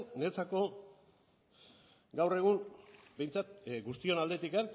niretzako gaur egun behintzat guztion aldetik